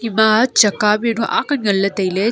ima chaka bi nu aak nganle taile.